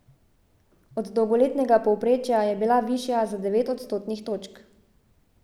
Od dolgoletnega povprečja je bila višja za devet odstotnih točk.